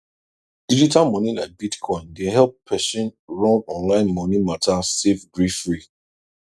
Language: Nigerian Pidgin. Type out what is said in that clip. digital money like bitcoin dey help person run online money matter safe gree free